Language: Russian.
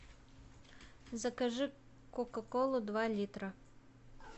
закажи кока колу два литра